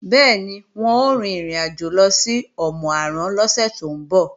Bẹ́ẹ̀ni, wọn ó rin ìrìnàjò lọ sí Òmù-àrán lọ́sẹ̀ tó ń bọ̀